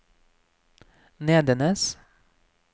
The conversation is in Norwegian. Nedenes